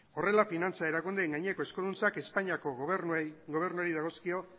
horrela finantza erakundeen gaineko eskuduntzak espainiako gobernuari dagozkio